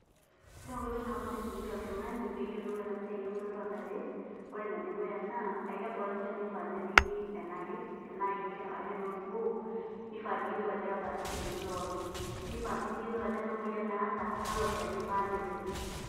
Ore enkoitoi nabo naisumieki oltung'ani peyiolou enasiai eudoto ontare, ore enedukuya naa, ekebaa olchani oifaa nepiki enaker, tenaa kenker arashu tenaa orkuo, nifaa niyiolou ajo kebaa sisiini lopiki. Nifaa si niyiolou ajo amaa emoyian naata, kalo shani ifaa netum.